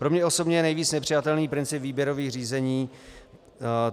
Pro mě osobně je nejvíc nepřijatelný princip výběrových řízení.